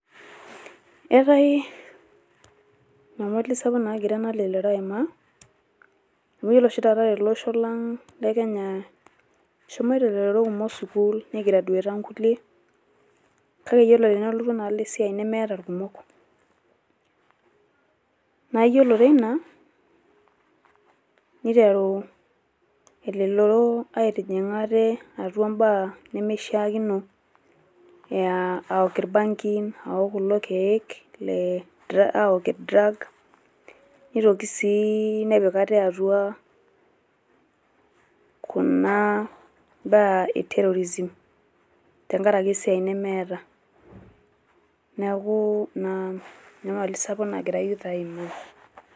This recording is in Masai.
Eetai enyamali sapuk nagira ena lelero aimaa amu iyiolo oshi taata tele osho lang le Kenya eshomoto elelero kumok sukuul nei graduate aa nkulie. Kake tenelotu enaalo esiai nemeta ilkumok naa yiolo teina neiteru elelero aitijing`a ate atua imbaa nemeishiakino aa aok ilbangin aok kulo kiek le aok drug neitoki sii nepik ate atua kuna baa e terrorism tenkaraki esiai nemeeta. Niaku ina enyamali sapuk nagira youth aimaa.